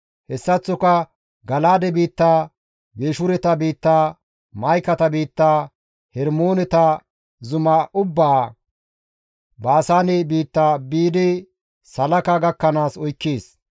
Hessaththoka Gala7aade biitta, Geeshureta biitta, Ma7ikate biitta, Hermoone zuma ubbaa, Baasaane biitta biidi Salaaka gakkanaas oykkees.